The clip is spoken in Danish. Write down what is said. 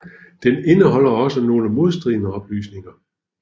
De indeholder også nogle modstridende oplysninger